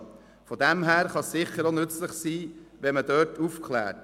Daher kann es sicher auch nützlich sein, hier aufzuklären.